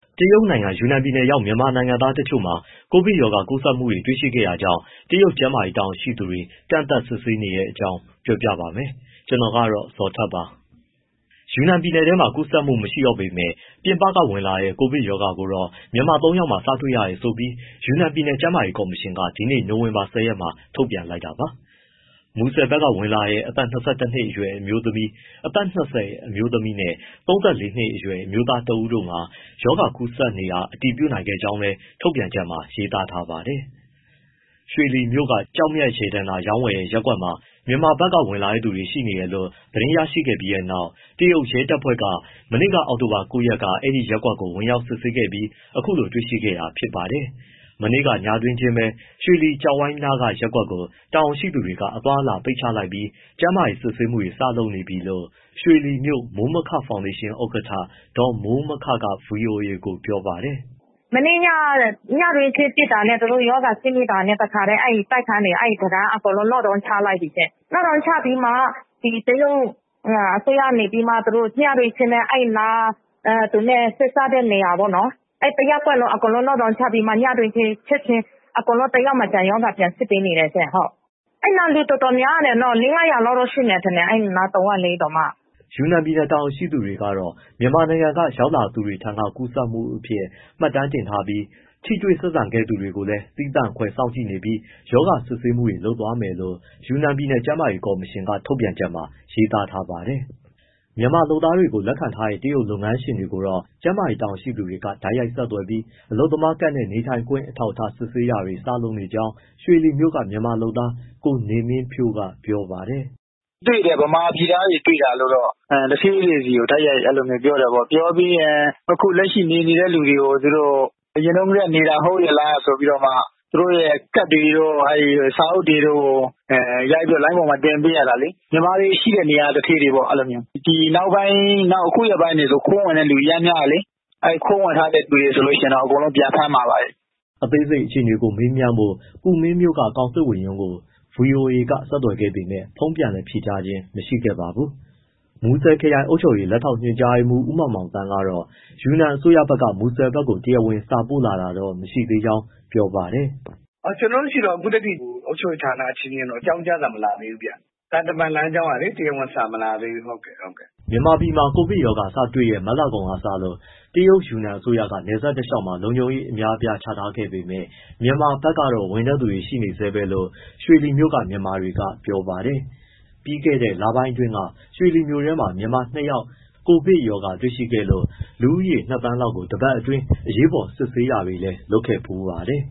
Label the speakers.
Speaker 1: တရုတ်နိုင်ငံ ယူနန်ပြည်နယ်ရောက် မြန်မာနိုင်ငံသားတချို့မှာ ကိုဗစ်ကပ်ရောဂါကူးစက်မှု တွေ့ရှိခဲ့တာကြောင့် တရုတ်ကျန်းမာရေး တာဝန်ရှိသူတွေ ကန့်သတ်စစ်ဆေးနေတဲ့အကြောင်း ပြောပြပါမယ်။ ဗွီအိုအေမြန်မာပိုင်း သတင်းထောက် ကိုဇော်ထက်က သတင်းပေးပို့ထားပါတယ်။ ယူနန်ပြည်နယ်ထဲမှာ ကူးစက်မှု မရှိတော့ပေမဲ့ ပြင်ပကဝင်လာတဲ့ ကိုဗစ်ရောဂါကိုတော့ မြန်မာ ၃ ယောက်မှာ စတွေ့ရတယ်ဆိုပြီး ယူနန်ပြည်နယ် ကျန်းမာရေးကော်မရှင်က ဒီနေ့ နိုဝင်ဘာ ၁၀ ရက်မှာ ထုတ်ပြန်လိုက်တာပါ။ မူဆယ်ဘက်က ဝင်လာတဲ့ အသက် ၂၁ နှစ်အရွယ် အမျိုးသမီး၊ အသက် ၂၀ အမျိုးသမီး နဲ့ ၃၄ နှစ်အရွယ် အမျိုးသားတဦးတို့မှာ ရောဂါကူးစက်နေတာ အတည်ပြုနိုင်ခဲ့ကြောင်းလည်း ထုတ်ပြန်ချက်မှာ ရေးသားထားပါတယ်။ ရွှေလီမြို့က ကျောက်မျက်ရတနာ ရောင်းဝယ်တဲ့ ရပ်ကွက်မှာ မြန်မာဘက်က ဝင်လာတဲ့သူတွေ ရှိနေတယ်လို့ သတင်းရရှိခဲ့ပြီးနောက် တရုတ်ရဲတပ်ဖွဲ့က မနေ့က အောက်တိုဘာ ၉ ရက်က အဲဒီရပ်ကွက်ကို ဝင်ရောက်စစ်ဆေးခဲ့ပြီး အခုလိုတွေ့ရှိခဲ့တာဖြစ်ပါတယ်။ မနေ့က ညတွင်ချင်းပဲ ရွှေလီကျောက်ဝိုင်းနားက ရပ်ကွက်ကို တာဝန်ရှိသူတွေက အသွားအလာ ပိတ်ချလိုက်ပြီး ကျန်းမာရေးစစ်ဆေးမှုတွေ စလုပ်နေပြီလို့ ရွှေလီမြို့မိုးမခဖောင်ဒေးရှင်း ဥက္ကဋ္ဌ ဒေါ်မိုးမခက ဗွီအိုအေကို ပြောပါတယ်။
Speaker 2: “မနေ့ညက ညတွင်းချင်းစစ်တာနဲ့ သူတို့ရောဂါ စစ်မိတာနဲ့ တခါတည်း အဲဒီတိုက်ခန်းတွေ lockdown ချလိုက်ပြီရှင့်၊ lockdown ချပြီးမှ ဒီတရုတ် အစိုးရက နေပြီးတော့ ညတွင်းချင်းပဲ အဲဒီနား သူနဲ့ဆက်စပ်တဲ့ နေရာပေါ့နော်.. အဲဒီတရပ်ကွက်လုံး အကုန် lockdown ချပြီးမှ ညတွင်းချင်း ချက်ချင်း အကုန် တယောက်မကျန် ရောဂါပြန်စစ်ပေးနေတယ်ရှင့်။ အဲဒီနား လူတော်တော်များတယ် ၅၀၀ လောက်တော့ ရှိမယ်... အဲဒီနား တဝိုက်လေးတောင်မှ။”
Speaker 1: ယူနန်ပြည်နယ်တာဝန်ရှိသူတွေကတော့ မြန်မာနိုင်ငံက ရောက်ရှိလာသူတွေထံက ကူးစက်မှုအဖြစ် မှတ်တမ်းတင်ထားပြီး ထိတွေ့ဆက်ဆံခဲ့သူတွေကိုလည်း သီးသန့်ခွဲ စောင့်ကြည့်နေပြီး ရောဂါစစ်ဆေးမှုတွေ လုပ်သွာမယ်လို့ ယူနန်ပြည်နယ် ကျန်းမာရေးကော်မရှင် ထုတ်ပြန်ချက်မှာ ရေးသားထားပါတယ်။ မြန်မာလုပ်သားတွေကို လက်ခံထားတဲ့ တရုတ်လုပ်ငန်းရှင်တွေကိုတော့ ကျန်းမာရေးတာဝန်ရှိသူတွေက တိုက်ရိုက်ဆက်သွယ်ပြီး အလုပ်သမားကဒ်နဲ့ နေထိုင်ခွင့်အထောက်အထား စစ်ဆေးတာတွေ စလုပ်နေကြောင်း ရွှေလီမြို့က မြန်မာလုပ်သား ကိုနေမင်းဖြိုးကပြောပါတယ်။
Speaker 3: “မြန်မာပြည်သားတွေ တွေ့တာလို့တော့ သူဌေးတွေဆီကို တိုက်ရိုက်ပြောတယ်ပေါ့။ ပြောပြီးတော့ အခုလက်ရှိ နေနေတဲ့သူတွေကို အရင်တုန်းကတည်းက နေတာ ဟုတ်ရဲ့လားဆိုပြီးတောမှ သူတို့ရဲ့ ကဒ်တွေတို့ စာအုပ်တွေတို့ကို ရိုက်ပြီး လိုင်းပေါ်မှာ တင်ပေးရတာလေ။ မြန်မာတွေရှိတဲ့နေရာက သူဌေးတွေပေါ့ အဲလိုမျိုး။ အခုရက်ပိုင်းတွေဆို ခိုးဝင်တဲ့သူ အရမ်းများတာလေ။ ခိုးဝင်ထားတဲ့သူတွေ ဆိုရင်တော့ အကုန်လုံး ပြန်ဖမ်းမှာပါပဲ။
Speaker 1: ” အသေးစိတ်အခြေအနေကို မေးမြန်းဖို့ ကူမင်းမြို့ ကောင်စစ်ဝန်ရုံးကို ဗွီအိုအေက ဆက်သွယ်ခဲ့ပေမဲ့ ဖုန်းပြန်လည် ဖြေကြားခြင်း မရှိခဲ့ပါဘူး။ မူဆယ်ခရိုင် အုပ်ချုပ်ရေး လက်ထောက် ညွှန်ကြားရေးမှူး ဦးမောင်မောင်သန်းကတော့ ယူနန်အစိုးရဘက်က မူဆယ်ဘက်ကို တရားဝင်စာပို့ လာတာတော့ မရှိသေးဘူးလို့ ပြောပါတယ်
Speaker 3: ။ “ကျနော်တို့ဆီတော့ အခုထက်ထိ အုပ်ချုပ်ရေးဌာန အချင်းချင်း အကြောင်းကြားစာ မလာသေးဘူးဗျ၊ သံတမန်လမ်းကြောင်းက တရားဝင်စာ မလာသေးဘူး
Speaker 1: ။” မြန်မာပြည်မှာ ကိုဗစ်ရောဂါစတွေ့တဲ့ မတ်လကုန်ကစလို့ တရုတ် ယူနန်အစိုးရက နယ်စပ်တလျှောက်မှာ လုံခြုံရေး အများအပြားချထားပေမဲ့ မြန်မာဘက်ကတော့ ဝင်တဲ့သူတွေ ရှိနေဆဲပဲလို့ ရွှေလီမြို့က မြန်မာတွေက ပြောပါတယ်။ ပြီးခဲ့တဲ့ လပိုင်းအတွင်းက ရွှေလီမြို့ထဲက မြန်မာ ၂ ယောက်မှာ ကိုဗစ်ရောဂါ တွေ့ရှိခဲ့လို့ လူဦးရေ ၂,၀၀၀,၀၀၀ လောက်ကို တပတ်အတွင်း အရေးပေါ်စစ်ဆေးတာတွေလည်း လုပ်ခဲ့ဖူးပါတယ်